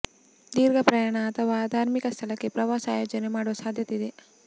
ದೀರ್ಘ ಪ್ರಯಾಣ ಅಥವಾ ಧಾರ್ಮಿಕ ಸ್ಥಳಕ್ಕೆ ಪ್ರವಾಸ ಆಯೋಜನೆ ಮಾಡುವ ಸಾಧ್ಯತೆ ಇದೆ